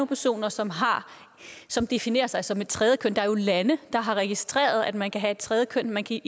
personer som som definerer sig som et tredje køn der er jo lande der har registreret at man kan have et tredje køn man kan